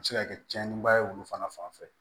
A bɛ se ka kɛ tiɲɛniba ye olu fana fanfɛ